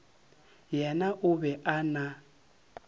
yena o be a na